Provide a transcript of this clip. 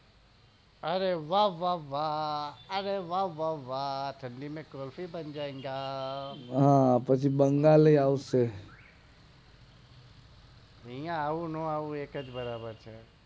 અરે વા વા વા વા અરે વા વા વા ઠંડી મેં કુલ્ફી જામ જાયેગા હા હા પછી બંગાળ એ આવશે આઇયા એવું નો આવું એક જ બરાબ છે